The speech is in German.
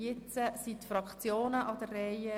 Jetzt sind die Fraktionen an der Reihe.